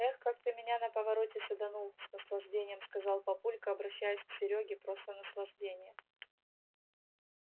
эх как ты меня на повороте саданул с наслаждением сказал папулька обращаясь к серёге просто наслаждение